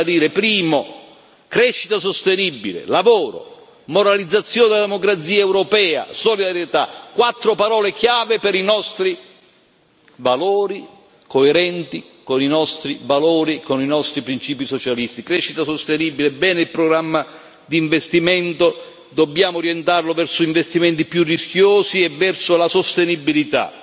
Le voglio ribadire innanzitutto crescita sostenibile, lavoro, moralizzazione della democrazia europea, solidarietà quattro parole chiave per i nostri valori, coerenti con i nostri valori, con i nostri principi socialisti crescita sostenibile bene il programma di investimento, dobbiamo orientarlo verso investimenti più rischiosi e verso la sostenibilità